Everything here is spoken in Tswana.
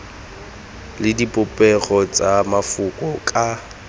le dipopego tsa mafoko ka